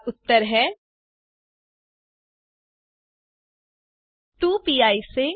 और उत्तर हैं 1